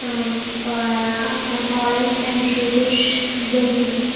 and ah and orange and reddish building .